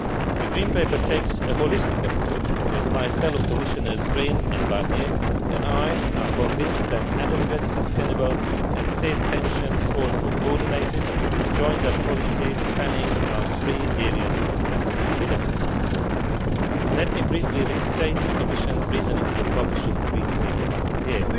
The Green Paper takes a holistic approach, because my fellow Commissioners, Rehn and Barnier, and I are convinced that adequate, sustainable and safe pensions call for coordinated, joined up policies spanning our three areas of responsibility. Let me briefly restate the Commission's reasoning for publishing the Green Paper last year.